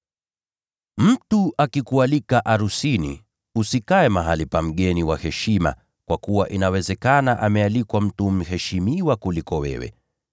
“Mtu akikualika arusini, usikae mahali pa mgeni wa heshima kwa kuwa inawezekana amealikwa mtu mheshimiwa kuliko wewe.